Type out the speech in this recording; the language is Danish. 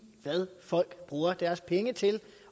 hvad folk bruger deres penge til